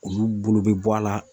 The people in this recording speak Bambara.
Olu bolo bɛ bɔ a la.